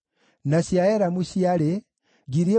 na cia Azigadi ciarĩ 1,222,